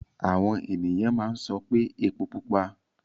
Àwọn ènìyàn máa ń sọ pé epó pupa.